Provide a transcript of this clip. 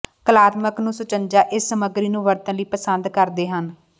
ਕਲਾਤਮਕ ਨੂੰ ਸੁਚੱਜਾ ਇਸ ਸਮੱਗਰੀ ਨੂੰ ਵਰਤਣ ਲਈ ਪਸੰਦ ਕਰਦੇ ਹਨ